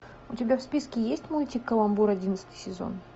у тебя в списке есть мультик каламбур одиннадцатый сезон